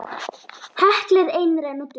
Hekla er einræn og dul.